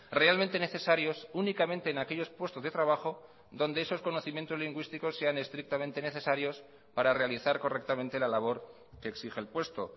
realmente necesarios únicamente en aquellos puestos de trabajo donde esos conocimientos lingüísticos sean estrictamente necesarios para realizar correctamente la labor que exige el puesto